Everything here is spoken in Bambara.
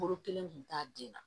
Boro kelen kun t'a den na